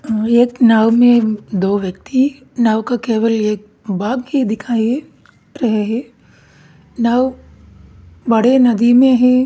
एक नाव में दो व्यक्ति नाव का केवल एक भाग दिखाई नाव बड़े नदी में है।